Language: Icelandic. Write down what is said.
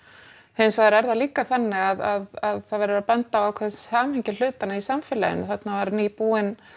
hins vegar er það líka þannig að það verður að benda á ákveðið samhengi hlutanna í samfélaginu þarna var nýbúin